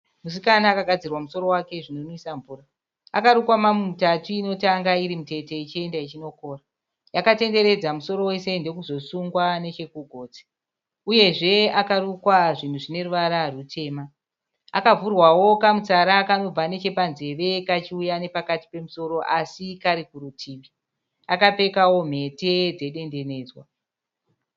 Musikana akagadzirwa musoro wake zvinonwisa mvura. Akarukwa mamu mutatu inotanga iri mutete ichienda ichinokura. Yakatenderedza musoro wese ndokuzosungwa nechekugotsi. Uyezve akarukwa zvinhu zvineruvara rwutema. Akavhurwawo kamutsara kanobva nechepanzeve kachiuya nechepakati pemusoro asi kari kurutivi. Akapfekawo mhete dzedendenedzwa.